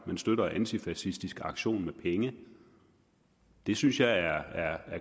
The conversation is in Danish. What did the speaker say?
man støtter antifascistisk aktion med penge det synes jeg er